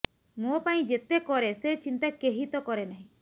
ମୋ ପାଇଁ ଯେତେ କରେ ସେ ଚିନ୍ତା କେହି ତ କରେ ନାହିଁ